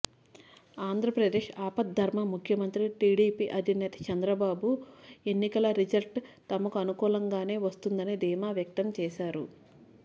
ఆంధ్రప్రదేశ్ ఆపద్ధర్మ ముఖ్యమంత్రి టీడీపీ అధినేత చంద్రబాబు ఎన్నకల రిజల్ట్ తమకు అనుకూలంగానే వస్తుందని ధీమా వ్యక్తం చేశారు